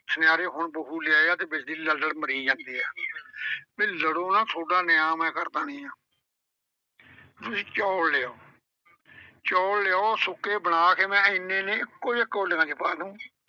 ਸੁਨਿਆਰੇ ਹੁਣ ਬਹੂ ਲਿਆਏ ਆ ਤੇ ਲੜ ਲੜ ਮਰੀ ਜਾਂਦੇ ਆ। ਵੀ ਲੜੋ ਨਾ ਥੋਡਾ ਨਿਆਂ ਮੈਂ ਕਰ ਦੇਨੀ ਆਂ ਤੁਸੀਂ ਚੌਲ ਲਿਆਓ ਚੌਲ ਲਿਆਓ ਸੁੱਕੇ, ਬਣਾ ਕੇ ਮੈਂ ਐਨੇ ਐਨੇ ਇੱਕੋ ਜਿਹੇ ਕੌਲੀਆਂ ਚ ਪਾ ਦੂਉਂ।